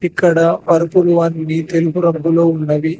ఇక్కడ పరుపులు అన్నీ తెలుపు రంగులో ఉన్నవి.